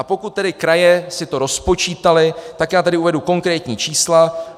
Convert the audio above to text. A pokud tedy kraje si to rozpočítaly, tak já tady uvedu konkrétní čísla.